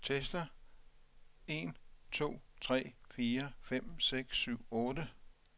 Tester en to tre fire fem seks syv otte.